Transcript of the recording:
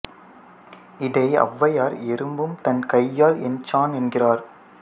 இதை ஔவையார் எறும்பும் தன் கையால் எண் சாண் என்கிறார்